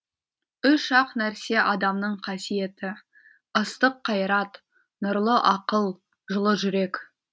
үш ақ нәрсе адамның қасиеті ыстық қайрат нұрлы ақыл жылы жүрек